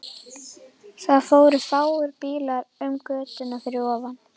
Það fóru fáir bílar um götuna fyrir ofan.